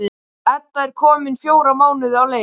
Edda er komin fjóra mánuði á leið.